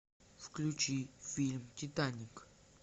включи фильм титаник